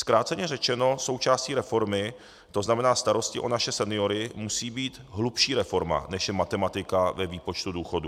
Zkráceně řečeno, součástí reformy, to znamená starosti o naše seniory, musí být hlubší reforma, než je matematika ve výpočtu důchodů.